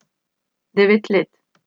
Devet let.